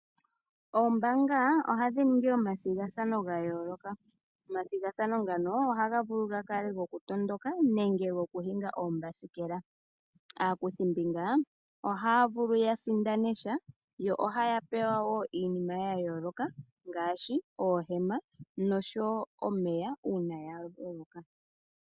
Oombanga ohadhi ningi omathigathano ga yooloka. Omathigathano ngano ohaga vulu ga kale goku matuka nenge gokuhinga oombasikela. Aakuthimbinga ohaya vulu ya sindana sha yo ohaya pewa woo iinima ya yooloka ngaashi oohema oshowo omeya uuna ya loloka.